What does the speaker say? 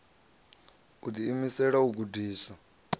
u ḓi imisela u gudiswa